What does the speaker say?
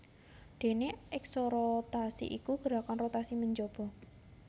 Déné eksorotasi iku gerakan rotasi menjaba